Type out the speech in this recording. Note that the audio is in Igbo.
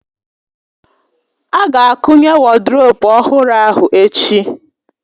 A ga-akụnye woduropu ọhụrụ ahụ echi